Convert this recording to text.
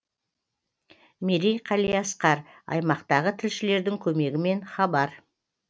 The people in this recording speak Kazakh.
мерей қалиасқар аймақтағы тілшілердің көмегімен хабар